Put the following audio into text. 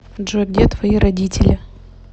джой где твои родители